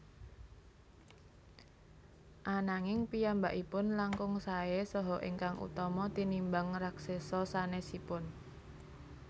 Ananging piyambakipun langkung saè saha ingkang utama tinimbang raksesa sanesipun